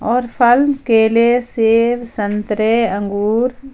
और फल केले सेव संतरे अंगूर--